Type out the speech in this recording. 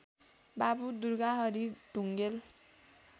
Babu Durgahari Dhungel